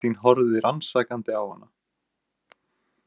Kristín horfði rannsakandi á hana.